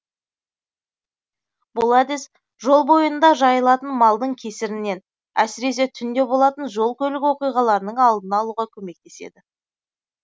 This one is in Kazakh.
бұл әдіс жол бойында жайылатын малдың кесірінен әсіресе түнде болатын жол көлік оқиғаларының алдын алуға көмектеседі